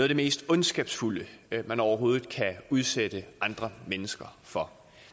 det mest ondskabsfulde man overhovedet kan udsætte andre mennesker for